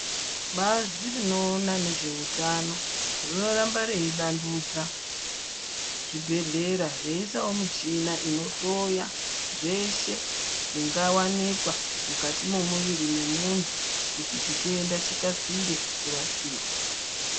Bazi rinoona ngezve utano, rinoramba rei vandudza zvibhedhlera , veyi isawo michina inohloya zveshe zvinga wanikwa mukati mwemuiri wemuntu, kuti chitenda chikasire kurapika.